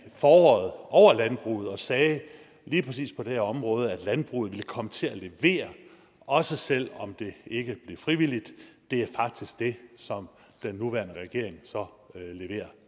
foråret over landbruget og sagde lige præcis på det her område at landbruget ville komme til at levere også selv om det ikke blev frivilligt det er faktisk det som den nuværende regering så leverer